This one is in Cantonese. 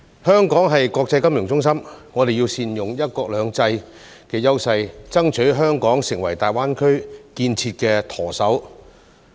香港是國際金融中心，我們要善用"一國兩制"的優勢，爭取香港成為大灣區建設的"舵手"。